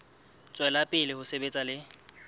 tswela pele ho sebetsa le